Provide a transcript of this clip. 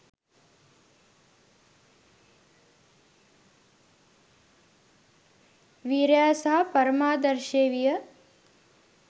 වීරයා සහ පරමාදර්ශය විය.